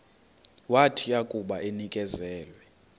wathi akuba enikezelwe